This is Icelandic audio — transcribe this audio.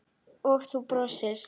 Og þú brosir.